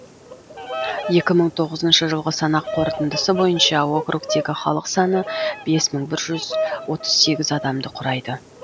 екі мың тоғызыншы жылғы санақ қорытындысы бойынша округтегі халық саны бес мың бір жүз отыз сегіз адамды құрайды